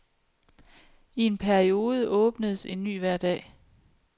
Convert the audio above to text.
I en periode åbnedes en ny hver dag.